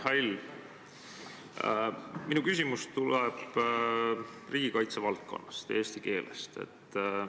Hea Mihhail, minu küsimus tuleb riigikaitse valdkonnast ja eesti keelest.